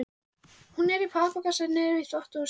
Hún er í pappakassa niðri í þvottahúsi.